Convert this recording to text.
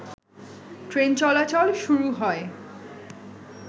ট্রেনচলাচল শুরু হয়।